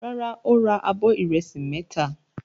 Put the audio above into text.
Rárá, ó ra abọ́ ìrẹsì mẹ́ta.